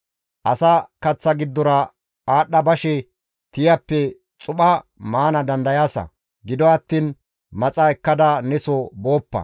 Asa kaththa giddora aadhdha bashe tiyappe xupha maana dandayaasa; gido attiin maxa ekkada neso booppa.